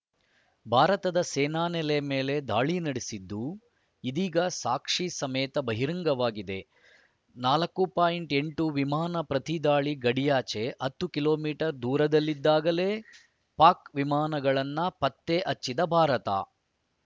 ಭಾರತದ ಸೇನಾನೆಲೆ ಮೇಲೆ ದಾಳಿ ನಡೆಸಿದ್ದು ಇದೀಗ ಸಾಕ್ಷಿ ಸಮೇತ ಬಹಿರಂಗವಾಗಿದೆ ನಾಲ್ಕು ಪಾಯಿಂಟ್ ಎಂಟು ವಿಮಾನ ಪ್ರತಿದಾಳಿ ಗಡಿಯಾಚೆ ಹತ್ತು ಕಿಲೋ ಮೀಟರ್ ದೂರದಲ್ಲಿದ್ದಾಗಲೇ ಪಾಕ್‌ ವಿಮಾನಗಳನ್ನು ಪತ್ತೆ ಹಚ್ಚಿದ ಭಾರತ